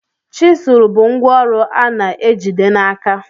Chizụl bụ ngwa ọrụ a na-ejide n'aka